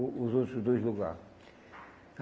O os outro dois lugar.